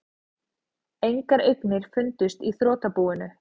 Engar eignir fundust í þrotabúinu